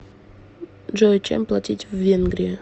джой чем платить в венгрии